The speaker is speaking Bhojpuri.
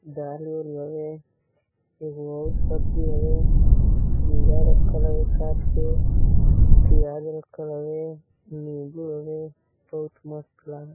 दाल-उल हवे। एगो और सब्जी हवे। खीरा राखल हवे काट के। प्याज राखल हवे नीबू हवे बहुत मस्त लगता।